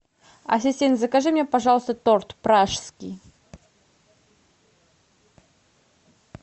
ассистент закажи мне пожалуйста торт пражский